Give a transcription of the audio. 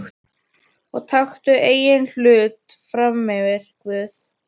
Og taktu engan hlut frammyfir Guð.